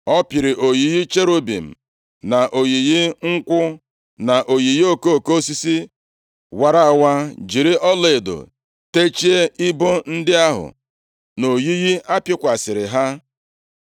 Ọ pịrị oyiyi cherubim na oyiyi nkwụ, na oyiyi okoko osisi wara awa, jiri ọlaedo techie ibo ndị ahụ na oyiyi a pịkwasịrị ha.